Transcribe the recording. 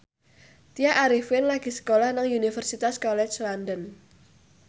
Tya Arifin lagi sekolah nang Universitas College London